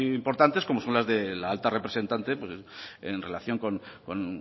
importantes como son las de la alta representante en relación con